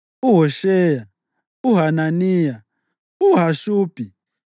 uHosheya, uHananiya, uHashubhi,